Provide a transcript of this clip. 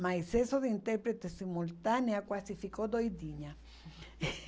Mas isso de intérprete simultânea quase ficou doidinha.